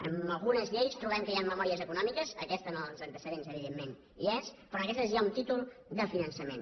en algunes lleis trobem que hi han memòries econòmiques aquesta en els antecedents evidentment hi és però en aquesta hi ha un títol de finançament